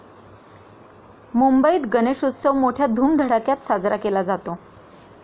मुंबईत गणेशोत्सव मोठय़ा धुमधडाक्यात साजरा केला जातो.